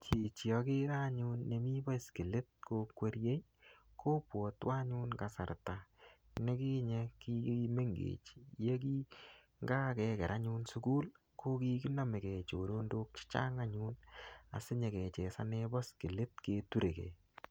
Chichi agere anyun nemii baiskelit kokwerie, kobwatwo anyun kasarta nekinye kimengech yekingakeker anyun sukul, ko kikinamekei choronok chechang anyun. Asinyikechesane baiskelit keturekey.